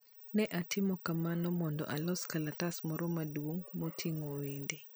Ne atimo kamano mondo alos kalatas moro maduong ' moting'o wende.